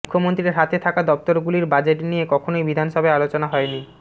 মুখ্যমন্ত্রীর হাতে থাকা দফতরগুলির বাজেট নিয়ে কখনই বিধানসভায় আলোচনা হয়নি